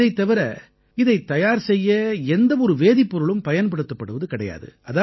இதைத் தவிர இதைத் தயார் செய்ய எந்த ஒரு வேதிப்பொருளும் பயன்படுத்தப்படுவது கிடையாது